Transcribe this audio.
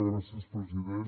gràcies president